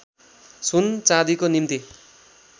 सुन चाँदीको निम्ति